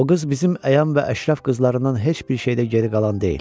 O qız bizim əyan və əşrəf qızlarımızdan heç bir şeydə geri qalan deyil.